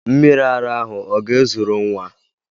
Mmiri ara ahụ ọ ga-ezuru nwa?